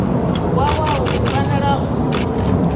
wa wua u fanela u